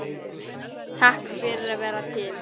Takk fyrir að vera til.